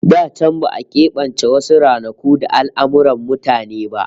Da can ba'a kebance wasu ranaku da al'amurran mutane ba